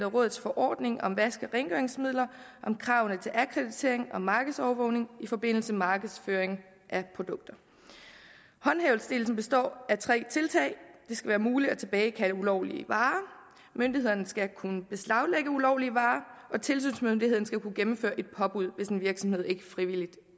rådets forordninger om vaske og rengøringsmidler og om kravene til akkreditering og markedsovervågning i forbindelse med markedsføring af produkter håndhævelsesdelen består af tre tiltag det skal være muligt at tilbagekalde ulovlige varer myndighederne skal kunne beslaglægge ulovlige varer og tilsynsmyndigheden skal kunne gennemføre et påbud hvis en virksomhed ikke frivilligt